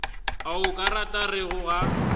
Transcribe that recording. a o ka rego ga